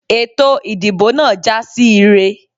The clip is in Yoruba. Ètò ìdìbò náà jásí ire.